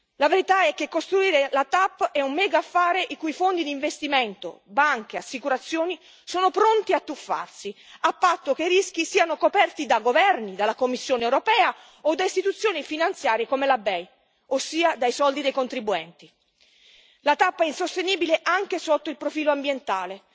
La verità è che costruire la TAP è un mega affare, in cui fondi di investimento, banche e assicurazioni sono pronti a tuffarsi, a patto che i rischi siano coperti da governi, dalla Commissione europea o da istituzioni finanziarie come la BEI, ossia dai soldi dei contribuenti. La TAP è insostenibile anche sotto il profilo ambientale.